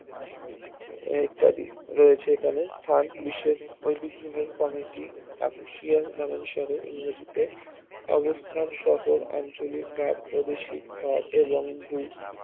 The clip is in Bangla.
ইত্যাদি রয়েছে এখানে স্থান বিশ্বের ঐতিহ্যবাহী কমিটি official নামানুসারে ইংরেজিতে অবস্থান শহর আঞ্চলিক ভাব বৈদেশিক ভাব এবং ভূ